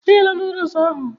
E ghela nodules ahụ